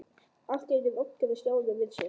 Allt í einu rankaði Stjáni við sér.